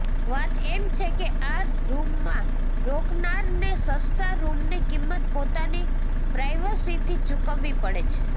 વાત એમ છે કે આ રૂમમાં રોકાનારને સસ્તા રૂમની કિંમત પોતાની પ્રાઇવસીથી ચૂકવવી પડે છે